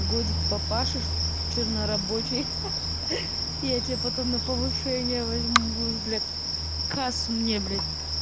годик попашешь чернорабочий ха-ха я тебя потом на повышение возьму будешь бля кассу мне блять